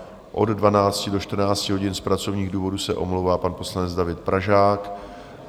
Od 12 do 14 hodin z pracovních důvodů se omlouvá pan poslanec David Pražák.